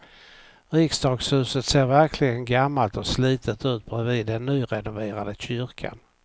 Riksdagshuset ser verkligen gammalt och slitet ut bredvid den nyrenoverade kyrkan.